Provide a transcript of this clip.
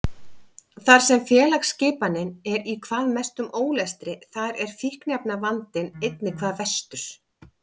Þar sem félagsskipanin er í hvað mestum ólestri þar er fíkniefnavandinn einnig hvað verstur.